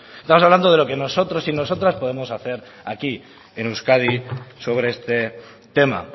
estamos hablando de lo que nosotros y nosotras podemos hacer aquí en euskadi sobre este tema